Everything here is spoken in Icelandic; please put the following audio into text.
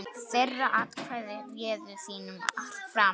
Þeirra atkvæði réðu þínum frama.